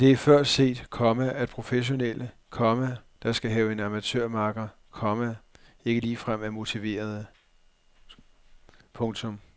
Men det er før set, komma at professionelle, komma der skal have en amatørmakker, komma ikke ligefrem er overmotiverede. punktum